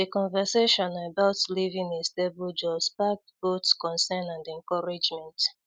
The conversation about leaving a stable job sparked both concern and encouragement.